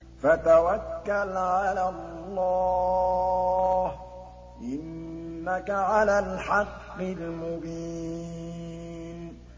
فَتَوَكَّلْ عَلَى اللَّهِ ۖ إِنَّكَ عَلَى الْحَقِّ الْمُبِينِ